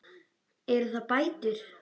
Eru það bætur?